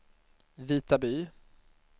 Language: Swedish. Vitaby